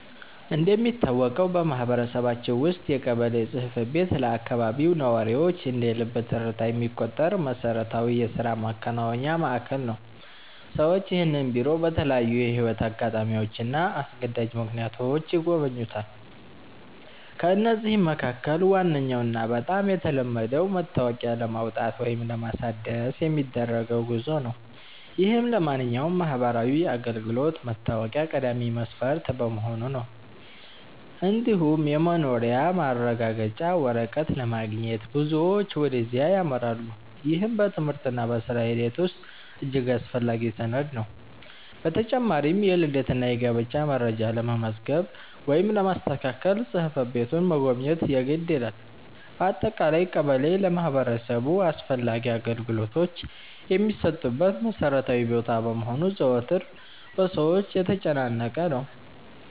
እንደሚታወቀው በማህበረሰባችን ውስጥ የቀበሌ ጽሕፈት ቤት ለአካባቢው ነዋሪዎች እንደ ልብ ትርታ የሚቆጠር መሠረታዊ የሥራ ማከናወኛ ማዕከል ነው። ሰዎች ይህንን ቢሮ በተለያዩ የሕይወት አጋጣሚዎችና አስገዳጅ ምክንያቶች ይጎበኙታል። ከነዚህም መካከል ዋነኛውና በጣም የተለመደው መታወቂያ ለማውጣት ወይም ለማሳደስ የሚደረገው ጉዞ ነው፤ ይህም ለማንኛውም ማህበራዊ አገልግሎት መታወቂያ ቀዳሚ መስፈርት በመሆኑ ነው። እንዲሁም የመኖሪያ ማረጋገጫ ወረቀት ለማግኘት ብዙዎች ወደዚያ ያመራሉ፤ ይህም በትምህርትና በሥራ ሂደት ውስጥ እጅግ አስፈላጊ ሰነድ ነው። በተጨማሪም የልደትና የጋብቻ መረጃ ለመመዝገብ ወይም ለማስተካከል ጽሕፈት ቤቱን መጎብኘት የግድ ይላል። በአጠቃላይ ቀበሌ ለማህበረሰቡ አስፈላጊ አገልግሎቶች የሚሰጡበት መሠረታዊ ቦታ በመሆኑ ዘወትር በሰዎች የተጨናነቀ ነው።